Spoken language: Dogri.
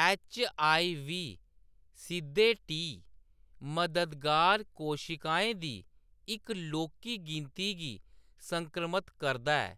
एच.आई.वी. सिद्धे टी मददगार कोशिकाएं दी इक लौह्‌‌‌की गिनती गी संक्रमत करदा ऐ,